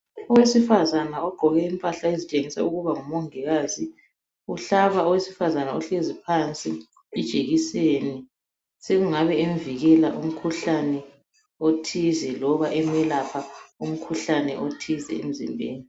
Owesifazana ogqoke impahla ezitshengisa ukuba ngumongikazi .Uhlaba owesifazana ohlezi phansi ijekiseni .Sekungabe emvikela umkhuhlane othize loba emelapha umkhuhlane othize emzimbeni .